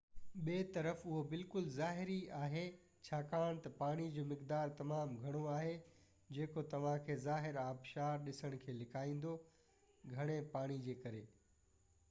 ٻي طرف، اهو بلڪل ظاهري آهي ڇاڪاڻ تہ پاڻي جو مقدار تمام گهڻو آهي جيڪو توهان کي ظاهر آبشار ڏسڻ کي لڪائيندو—گهڻي پاڻي جي ڪري